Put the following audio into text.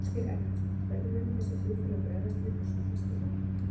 Ásgeir Erlendsson: Hvernig munu þessi flugfélög bregðast við þessu, veistu það?